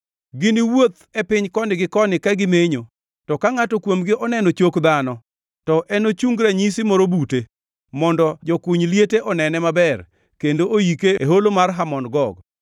Giniwuoth e piny koni gi koni ka gimenyo, to ka ngʼato kuomgi oneno chok dhano; to enochung ranyisi moro bute, mondo jokuny liete onene maber kendo oike e Holo mar Hamon Gog.